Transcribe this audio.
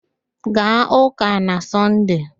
Gaa ụ́kà na Sọnde!